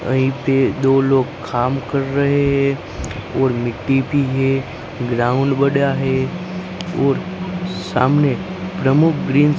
यहीं पे दो लोग खाम कर रहे है और मिट्टी भी है ग्राउंड बड़ा है और सामने प्रमुख ग्रीन--